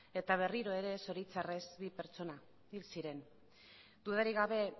eta berriro ere zoritxarrez bi pertsona hil ziren dudarik gabe